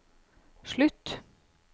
slutt